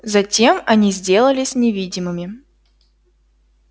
затем они сделались невидимыми